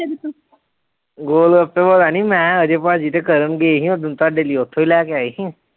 ਗੋਲਗੱਪੇ ਪਤਾ ਨੀ ਮੈਂ ਅਜੇ ਭਾਜੀ ਤੇ ਕਰਨ ਗਏ ਸੀ ਓਦਣ ਤੁਹਾਡੇ ਲਈ ਉੱਥੋਂ ਹੀ ਲੈ ਕੇ ਆਏ ਸੀ।